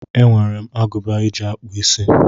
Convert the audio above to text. E nwere m agụba eji akpụ isí.